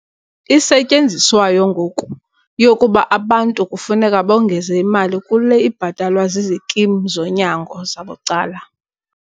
isetyenziswayo ngoku yokuba abantu kufuneka bongeze imali kule ibhatalwa zizikimu zonyango zabucala.